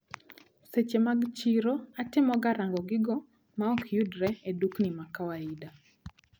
Seche mag chiro atemoga rango gigo maokyudre e dukni makawaida.